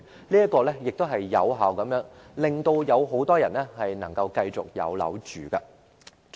這樣做亦能有效地令很多人繼續有地方居住。